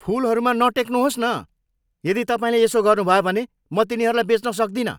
फुलहरूमा नटेक्नुहोस् न! यदि तपाईँले यसो गर्नुभयो भने म तिनीहरूलाई बेच्न सक्दिनँ!